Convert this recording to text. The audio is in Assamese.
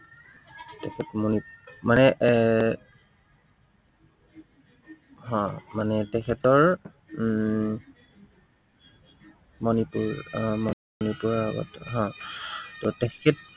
তেখেত মণিপুৰ এৰ মানে এৰ মানে তেখেতৰ উম মনিপুৰ আহ মনিপুৰৰ আগত হম ত তেখেত